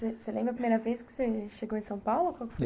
Você lembra a primeira vez que você chegou em São Paulo?